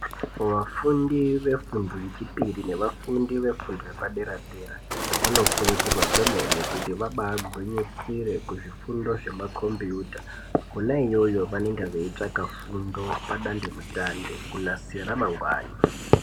Vafundi vefundo yechipiri nevafundi vefundo yepadera-dera vanokurudzirwa kwemene kuti vabagwinyisire kuzvifundo zvemakombiyuta. Kona iyoyo vanenge veitswaka fundo padandemutande kunasira ramangwani.